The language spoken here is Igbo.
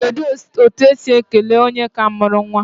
Kedu otu esi esi ekele onye ka mụrụ nwa?